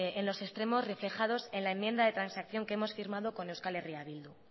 estas en los extremos reflejados en la enmienda de transacción que hemos firmado con euskal herria bildu